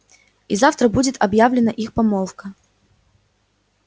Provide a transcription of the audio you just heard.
и завтра будет объявлена их помолвка